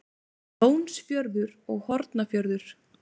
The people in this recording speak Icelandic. Lónsfjörður og Hornafjörður.